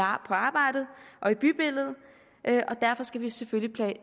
arbejdet og i bybilledet derfor skal vi selvfølgelig